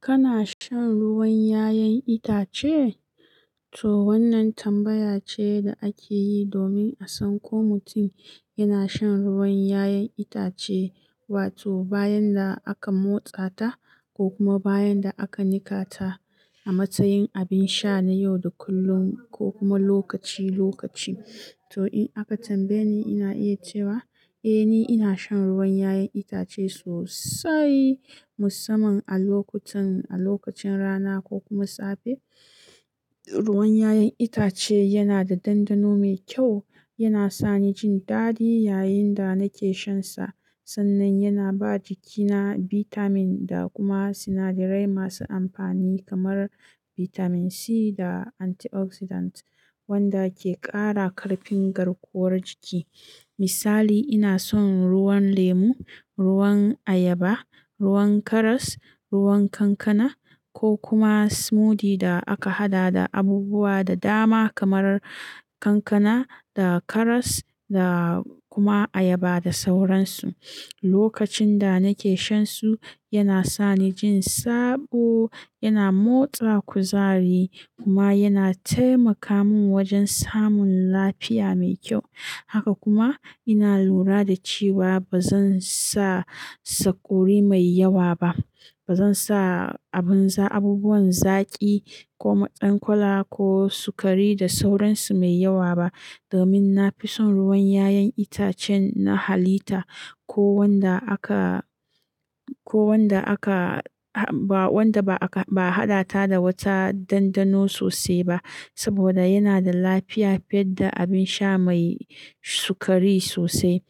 Kana shan ruwan 'ya'yan itace? To wannan tambaya ce da ake yi domin a san ko mutum yana shan ruwan 'ya'yan itace, wato bayan da aka motsa ta ko kuma bayan da aka niƙa ta a matsayin abin sha na yau da kullum ko kuma lokaci-lokaci. To in aka tambaye ni, ina iya cewa eh ni ina shan ruwan 'ya'yan itace sosai musamman a lokacin rana ko kuma safe. Ruwan 'ya'yan itace yana da ɗandano mai kyau, yana sani jin daɗi yayin da nake shansa. Sannan yana ba jikina bitamin da kuma sinadarai masu amfani kamar bitamin C da antioxidant wanda ke ƙara ƙarfin garkuwar jiki. Misali, ina son ruwan lemu, ruwan ayaba, ruwan karas, ruwan kankana ko kuma smoothie da aka haɗa da abubuwa da dama kamar kankana da karas da kuma ayaba da sauransu. Lokacin da nake shansu yana sani jin sabo, yana motsa kuzari kuma yana taimaka mun wajen samun lafiya mai ƙyau haka kuma ina lura da cewa bazansa sakurai mai yawa ba. Ba zan sa abubuwan zaƙi ko ma ɗan kola ko sukari da sauransu mai yawa ba domin na fi son ruwan 'ya'yan itacen na halitta ko wanda aka-- ko wanda aka-- ba wanda ba aka-- ba a haɗa ta da wata ɗandano sosai ba. Saboda yana da lafiya fiye da abin sha mai sukari sosai.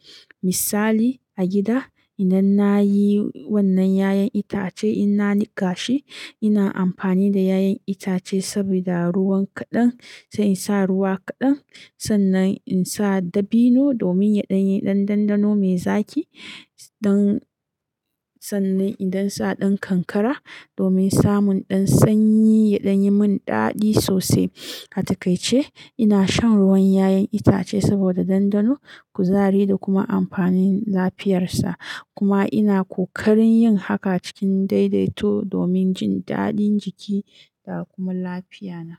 Misali a gida idan na yi wannan 'ya'yan itace ina niƙa shi, ina amfani da 'ya'yan itace sabida ruwan kaɗan. Sai in sa ruwa kaɗan sannan in sa dabino domin yaɗanyi ɗan ɗandano mai zaki. Don sannan idan sa ɗan kankara domin samun ɗan sanyi ya ɗanyi mun daɗi sosai. A takaice, ina shan ruwan 'ya'yan itace saboda ɗandano, kuzari da kuma amfanin lafiyarsa. Kuma ina kokarin yin haka cikin daidaito domin jin daɗin jiki da kuma lafiya na.